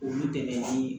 Olu dɛmɛ ni